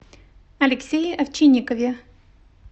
алексее овчинникове